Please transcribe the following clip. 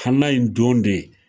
Kana in don dɛ